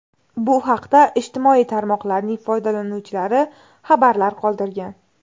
Bu haqda ijtimoiy tarmoqlarning foydalanuvchilari xabarlar qoldirgan.